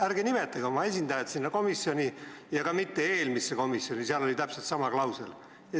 Ärge nimetage oma esindajat sinna komisjoni ja mitte ka eelmises päevakorrapunktis arutatud komisjoni, sest seal oli täpselt sama klausel sees.